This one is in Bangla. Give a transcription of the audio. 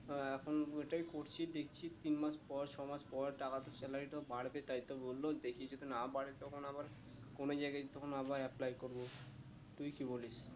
আহ এখন ওইটাই করছি দেখছি তিন মাস পর ছ মাস পর টাকা salary টাও বাড়বে তাই তো বললো দেখি যদি না বাড়ে তখন আবার কোনো জায়গায় তখন আবার apply করবো, তুই কি বলিস